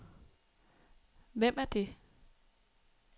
Hvem er det